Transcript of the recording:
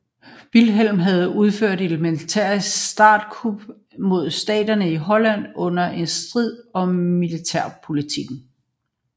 Vilhelm havde udført et militært statskup mod staterne i Holland under en strid om militærpolitikken